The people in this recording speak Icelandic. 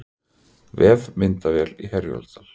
Vefmyndavél í Herjólfsdal